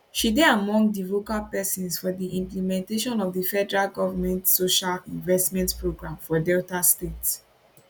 she dey among di vocal pesins for di implementation of di federal government social investment programme for delta state